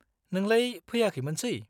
नोंलाय फैयाखैमोनसै?